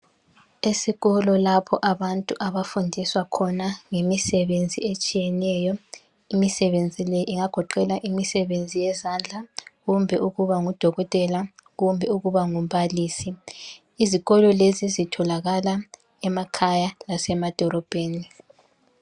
Esikolo lapho abantu abafundiswa khona ngemisebenzi etshiyeneyo. Imisebenzi le ingagoqela imisebenzi yezandla kumbe ukuba ngudokotela, kumbe ukuba ngumbalisi, izikolo lezi zitholakala emakhaya lasemadolobheni